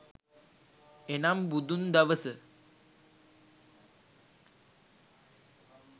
එනම් බුදුන් දවස